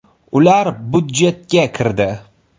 Ular budjetga kirdi.